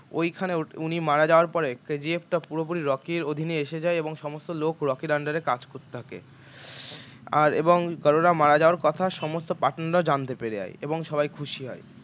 ঐখানে উনি মারা যাওয়ার পরে KGF টা পুরোপুরি রকি এর অধীনে এসে যায় এবং সমস্ত লোক রকির under কাজ করতে থাকে আর এবং গাড়ুরা মারা যাওয়ার কথা সমস্ত partner রাও জানতে পেরে যায় এবং সবাই খুশি হয়